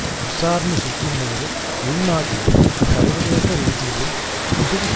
நூற்றி ஐம்பது மக்கள் கொல்ல பட்டுள்ளதாக இந்தோனேசிய